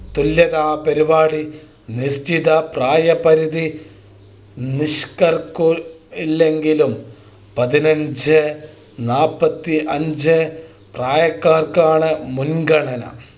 തുല്യതാ പരിപാടി നിശ്ചിത പ്രായപരിധി നിഷ്കർക്കു ഇല്ലെങ്കിലും പതിനഞ്ച് നാൽപത്തിയഞ്ച് പ്രായകാർക്കാണ് മുൻഗണന